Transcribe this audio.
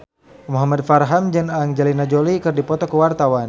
Muhamad Farhan jeung Angelina Jolie keur dipoto ku wartawan